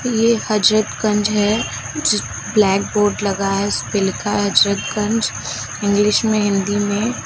ये हजरतगंज है जी ब्लैकबोर्ड लगा है उस पे लिखा है हजरतगंज इंग्लिश में हिंदी में।